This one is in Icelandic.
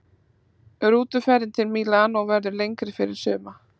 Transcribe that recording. Rútuferðin til Mílanó verður lengri fyrir suma.